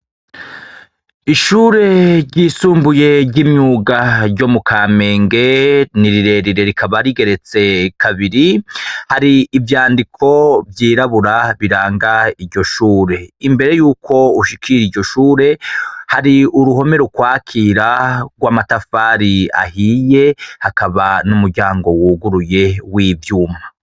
Ishure ryisumbuye ry'imyuga ryo mu kamenge ni rirerire rikaba rigeretse kabiri, hari ivyandiko vyirabura biranga iryo shure, imbere y'uko ushikir'iryo shure hari uruhome rukwakira rw'amatafari ahiye, hakaba n'umuryango wuguruye w'ivyuma.